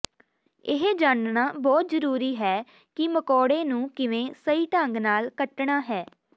ਇਹ ਜਾਣਨਾ ਬਹੁਤ ਜ਼ਰੂਰੀ ਹੈ ਕਿ ਮਕੌੜੇ ਨੂੰ ਕਿਵੇਂ ਸਹੀ ਢੰਗ ਨਾਲ ਕੱਟਣਾ ਹੈ